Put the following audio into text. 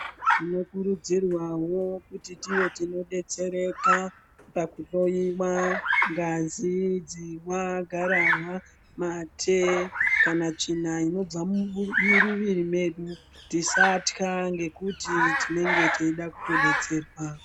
Tinokurudziwawo kuti tive tinodetsereka pakuhloyiwa ngazi dzihwa garahwa mate kana tsvina inobva muriviri medu tisata ngekuti tinenge teida kutodetserwa.